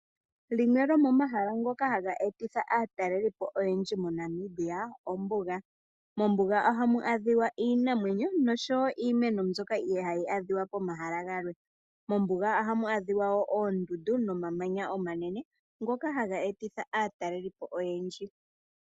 Limwe lomomahala ngoka haga etitha aataleli po oyendji moNamibia ombuga, mombuga ohamu adhiwa iinamwenyo nosho wo iimeno mbyoka ihayi adhika momahala galwe. Mombuga ohamu adhiwa wo oondundu nomamanya omanene ngoka haga etitha aataleli po oyendji.